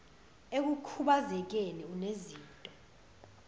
ekukhubaze keni unezinto